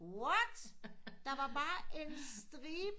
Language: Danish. What der var bare en stribe